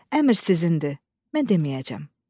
Əmr sizindir, mən deməyəcəm.